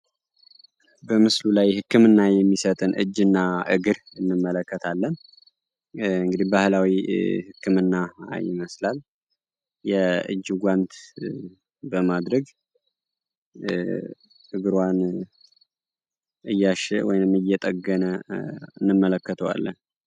በምስሉ ላይ ህክምና የሚሰጥን እጅ እና እግር እንመለከታለን እንግዲህ ባህላዊ ህክምና ይመስላል የእጅ ጓንት በማድረግ እግሯን እያሸ ወይም እየጠገነ እንመለከተዋለን።